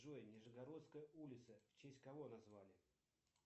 джой нижегородская улица в честь кого назвали